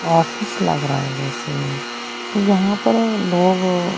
office लग रहा है जैसे तो यहां पर लोग--